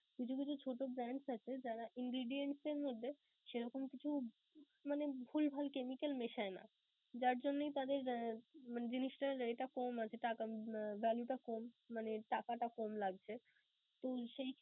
কিছু কিছু ছোট brands আছে যারা ingredience এর মধ্যে সেরকম কিছু মানে ভুলভাল chemical মেশায় না. যার জন্যই তাদের আহ মানে জিনিসটার rate টা কম আছে, টাক~ আহ value টা কম মানে টাকাটা কম লাগছে.